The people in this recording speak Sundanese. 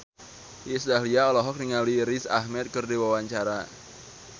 Iis Dahlia olohok ningali Riz Ahmed keur diwawancara